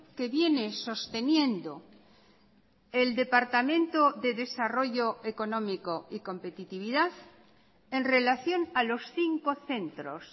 que viene sosteniendo el departamento de desarrollo económico y competitividad en relación a los cinco centros